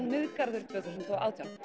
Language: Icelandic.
Miðgarður tvö þúsund og átján